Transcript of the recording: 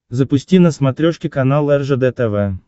запусти на смотрешке канал ржд тв